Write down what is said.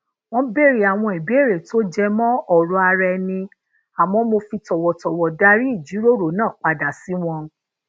wón béèrè àwọn ìbéèrè tó jẹ mó òrò ara ẹni àmó mo fi tòwòtòwò darí ìjíròrò náà pada si won